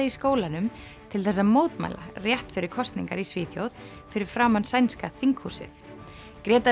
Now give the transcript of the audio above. í skólanum til þess að mótmæla rétt fyrir kosningar í Svíþjóð fyrir framan sænska þinghúsið